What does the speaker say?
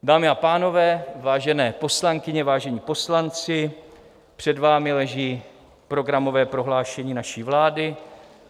Dámy a pánové, vážené poslankyně, vážení poslanci, před vámi leží programové prohlášení naší vlády.